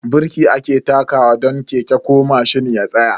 Birki ake takawa don keke ko mashin ya tsaya.